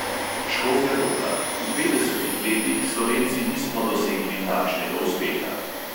Škofja loka: v petdesetih letih slovenci nismo dosegli takšnega uspeha.